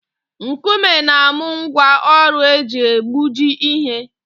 Nkume na-amụ ngwa ọrụ eji egbuji ihe